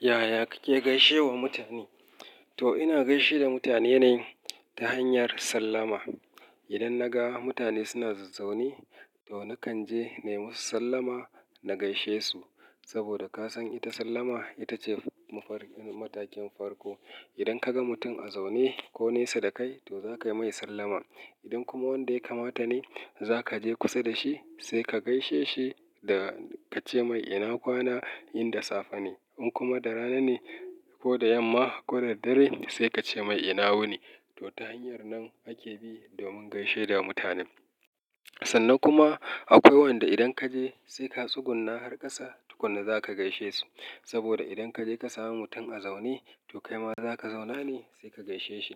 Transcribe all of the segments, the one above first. Yaya kake gaishe wa mutane? To ina gaishe da mutane ne ta hanyar sallama. Idan na ga mutane suna zazaune, to nakan je na yi musu sallama na gaishe su. Saboda ka san ita sallama ita ce mafarkin matakin farko. Idan ka ga mutum a zaune ko nesa da kai, to za ka yi mai sallama. Idan kuma wanda ya kamata ne, za ka je kusa da shi sai ka gaishe shi da ka ce mai ina kwana, in da safe ne. In kuma da rana ne ko da yamma ko da dare, sai ka ce mai ina wuni. To ta hanyar nan ake bi domin gaishe da mutane. Sannan kuma akwai wanda idan ka je sai ka tsuguna har ƙasa tukuna za ka gaishe su. Saboda idan ka je ka sami mutum a zaune, to kaima za ka zauna ne sai ka gaishe shi.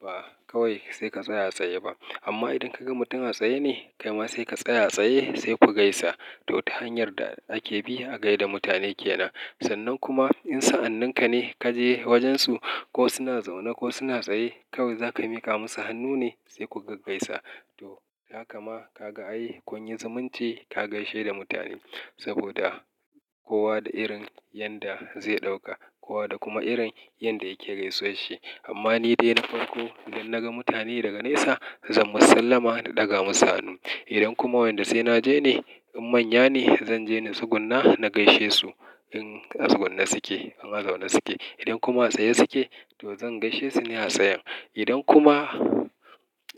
Ba kawai sai ka tsaya tsaye ba. Amma idan ka ga mutum a tsaye ne, kaima sai ka tsaya tsaye sai ku gaisa. To ta hanyar da ake bi a gai da mutane ke nan. Sannan kuma in sa'anninka ne ka je wajen su ko suna zaune ko suna tsaye, kawai za ka miƙa musu hannu ne sai ku gaggaisa. To haka ma ka ga ai, kunyi zumunci ka gaishe da mutane. Saboda kowa da irin yanda zai ɗauka, kowa da kuma irin yanda yake gaisuwashi. Amma ni dai na farko idan na ga mutane daga nesa, zan musu sallama na ɗaga musu hannu. Idan kuma wanda sai na je ne, in manya ne zan je na tsuguna na gaishe su in a tsuguna suke, in a zaune suke. Idan kuma a tsaye suke to zan gaishe su ne a tsayan. Idan kuma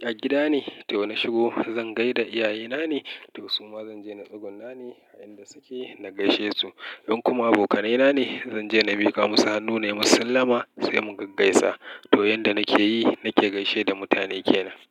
a gida ne to na shigo zan gai da iyayena ne, to su ma zan je na tsuguna ne a inda suke na gaishe su. In kuma abokanaina ne, zan je na miƙa musu hannu, ne musu sallama sai mu gaggaisa. To yanda nake yi nake gaishe da mutane ke nan.